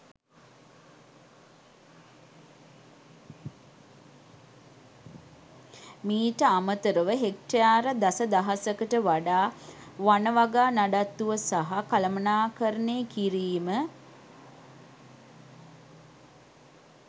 මීට අමතර ව හෙක්ටයාර දස දහසකට වඩා වන වගා නඩත්තුව සහ කළමනාකරණය කිරීම